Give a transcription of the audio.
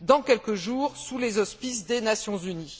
dans quelques jours sous les auspices des Nations unies.